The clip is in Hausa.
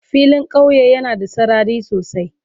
Filin kauye yana da sarari sosai.